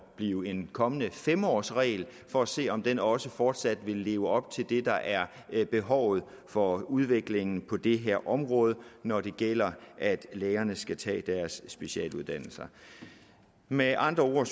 blive en kommende fem årsregel for at se om den også fortsat vil leve op til det der er behovet for udviklingen på det her område når det gælder at lægerne skal tage deres specialuddannelser med andre ord